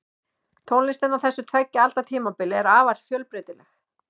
Tónlistin á þessu tveggja alda tímabili var afar fjölbreytileg.